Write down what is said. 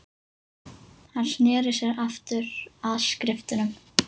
Hann sneri sér aftur að skriftunum.